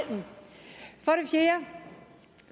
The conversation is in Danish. fjerde